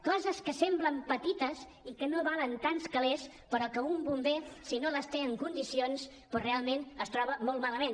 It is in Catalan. coses que semblen petites i que no valen tants calers però que un bomber si no les té en condicions doncs realment es troba molt malament